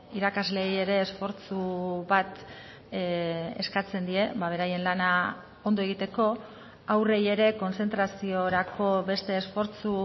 irakasleei ere esfortzu bat eskatzen die beraien lana ondo egiteko haurrei ere kontzentraziorako beste esfortzu